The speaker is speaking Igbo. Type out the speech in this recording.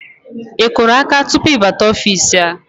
Ị kụrụ áká tupu ị bata ofiisi a?